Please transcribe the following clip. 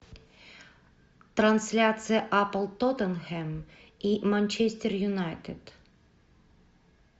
трансляция апл тоттенхэм и манчестер юнайтед